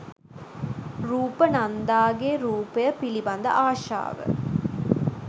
රූප නන්දාගේ රූපය පිළිබඳ ආශාව